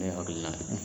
Ne hakilina ye